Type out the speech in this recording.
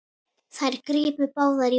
Þær gripu báðar í úlpu